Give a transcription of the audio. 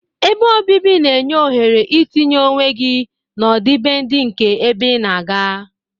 Ebe obibi na-enye ohere etinye onwe gị n'ọdịbendị nke ebe ị na-aga.